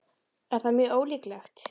Er það mjög ólíklegt?